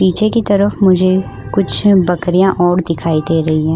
पीछे की तरफ मुझे कुछ बकरियां और दिखाई दे रही है।